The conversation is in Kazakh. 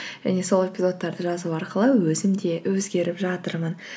және сол эпизодтарды жазу арқылы өзім де өзгеріп жатырмын